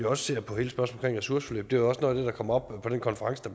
også ser på hele spørgsmålet om ressourceforløb det var også noget af kom op på den konference der